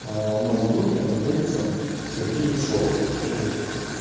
а у нас в группе находится сергей ершов который